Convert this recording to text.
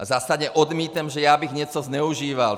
A zásadně odmítám, že já bych něco zneužíval!